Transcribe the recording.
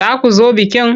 Za ku zo bikin?